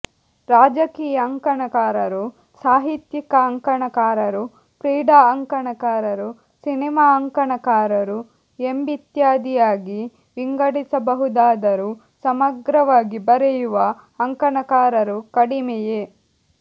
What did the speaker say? ರಾಜಕೀಯ ಅಂಕಣಕಾರರು ಸಾಹಿತ್ಯಿಕ ಅಂಕಣಕಾರರು ಕ್ರೀಡಾ ಅಂಕಣಕಾರರು ಸಿನಿಮಾ ಅಂಕಣಕಾರರು ಎಂಬಿತ್ಯಾದಿಯಾಗಿ ವಿಂಗಡಿಸಬಹುದಾದರೂ ಸಮಗ್ರವಾಗಿ ಬರೆಯುವ ಅಂಕಣಕಾರರು ಕಡಿಮೆಯೇ